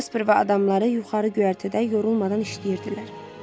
Jasper və adamları yuxarı göyərtədə yorulmadan işləyirdilər.